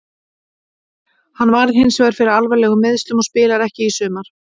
Hann varð hinsvegar fyrir alvarlegum meiðslum og spilar ekki í sumar.